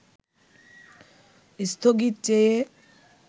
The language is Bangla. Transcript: স্থগিত চেয়ে